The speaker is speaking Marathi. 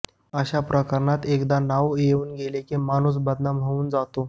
अशा प्रकरणात एकदा नाव येऊन गेले की माणूस बदनाम होऊन जातो